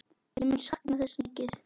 Ég mun sakna þess mikið.